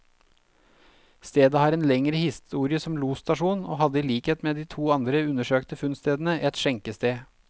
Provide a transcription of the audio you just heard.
Stedet har en lengre historie som losstasjon, og hadde i likhet med de to andre undersøkte funnstedene, et skjenkested.